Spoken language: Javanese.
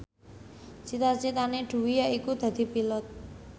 cita citane Dwi yaiku dadi Pilot